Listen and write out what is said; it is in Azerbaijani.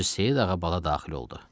Hacı Seyid ağa Bala daxil oldu.